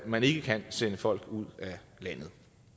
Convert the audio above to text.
man ikke kan sende folk ud af landet